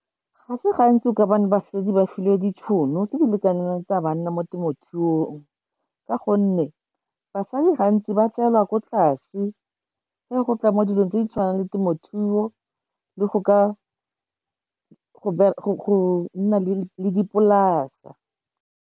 Ga se gantsi o ka bona basadi ba filwe ditšhono, tse di lekaneng le tsa banna mo temothuong. Ka gonne basadi gantsi ba tseelwa ko tlase, ga go tla mo dilong tse di tshwanang le temothuo, le go ka go nna le dipolasa.